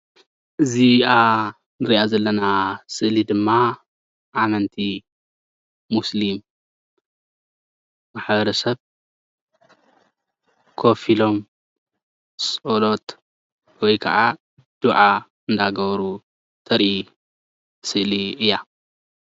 እዚኣ እንሪኣ ዘለና ስእሊድማ ኣመንቲ ሞሰሊም ማሕበረ ሰብ ኮፍ ኢሎም ፀሎት ወይ ከዓ ዱዓ እናገበሩ ተርኢ ስእሊ እያ፡፡